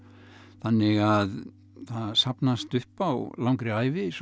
þannig að það safnast upp á langri ævi svona